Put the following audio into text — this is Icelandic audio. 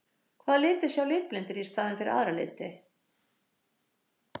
Hvaða liti sjá litblindir í staðinn fyrir aðra liti?